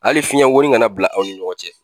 Ali fiɲɛn woni kana bila aw ni ɲɔgɔn cɛ